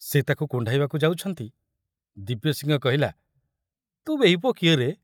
ସେ ତାକୁ କୁଣ୍ଢାଇବାକୁ ଯାଉଛନ୍ତି, ଦିବ୍ୟସିଂହ କହିଲା, ତୁ ବେହିପୋ କିଏ ରେ?